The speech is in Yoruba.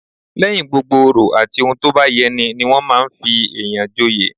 Lẹ́yìn gbogbo òrò àti ohun tó bá yẹ ní ní wọn máa fi èyàn joyè